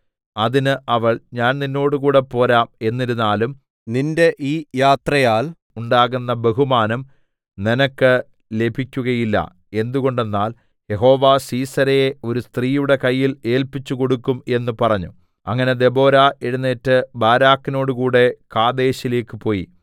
അതിന് അവൾ ഞാൻ നിന്നോടുകൂടെ പോരാം എന്നിരുന്നാലും നിന്റെ ഈ യാത്രയാൽ ഉണ്ടാകുന്ന ബഹുമാനം നിനക്ക് ലഭിക്കുകയില്ല എന്തുകൊണ്ടെന്നാൽ യഹോവ സീസെരയെ ഒരു സ്ത്രീയുടെ കയ്യിൽ ഏല്പിച്ചുകൊടുക്കും എന്ന് പറഞ്ഞു അങ്ങനെ ദെബോരാ എഴുന്നേറ്റ് ബാരാക്കിനോടുകൂടെ കാദേശിലേക്ക് പോയി